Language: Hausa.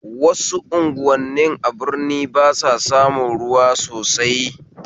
wasu unguwanin a birni basa samun ruwa sosai